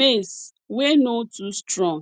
maize wey no too strong